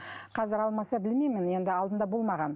қазір алмаса білмеймін енді алдында болмаған